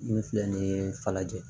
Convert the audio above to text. Min filɛ nin ye falajɛ